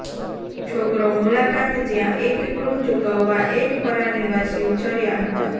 છોકરો મુલાકાત જ્યાં એક ક્રૂ ચૂકવવા એક પરા નિવાસી ઉછર્યા હતા